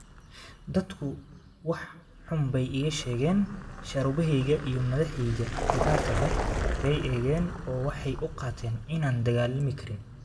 Dadku wax xun bay iga sheegeen, shaarubahayga iyo madaxayga bidaarta leh bay eegeen oo waxay u qaateen inaanan dagaalami karin.